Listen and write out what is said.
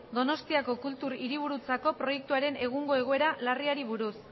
donostiako kultur hiriburutzako proiektuaren egungo egoera larriari buruz